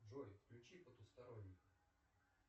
джой включи потусторонний